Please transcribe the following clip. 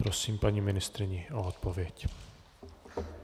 Prosím paní ministryni o odpověď.